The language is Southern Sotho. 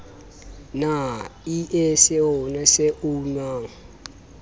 na ie seoa se unang